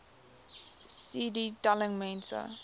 cd telling mense